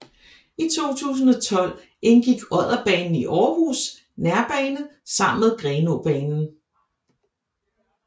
I 2012 indgik Odderbanen i Aarhus Nærbane sammen med Grenaabanen